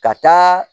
Ka taa